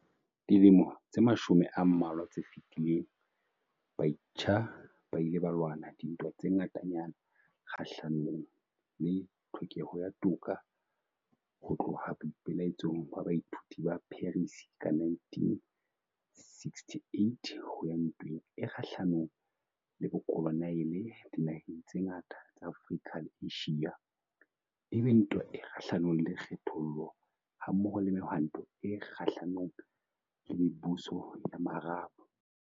Dilemong tse mashome a mmalwa tse fetileng, batjha ba ile ba lwana dintwa tse ngatanyana kgahlanong le tlhokeho ya toka, ho tloha boipe-laetsong ba baithuti ba Paris ka 1968, ho ya ntweng e kgahlanong le bokoloniale dinaheng tse ngata tsa Afrika le Asia, e be ntwa e kgahlanong le kgethollo, ha-mmoho le Mehwanto e Kgahla-nong le Mebuso ya Maarab.